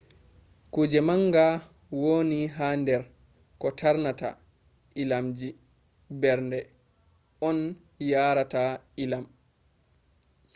kuje manga wooni ha der ko tarnata ii’amji mberde on yaara ta ii’am